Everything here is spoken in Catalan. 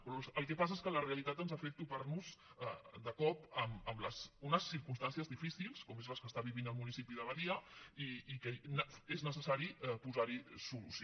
però el que passa és que la realitat ens fa fet topar de cop amb unes circumstàncies difícils com són les que està vivint el municipi de badia i que és necessari posar hi solució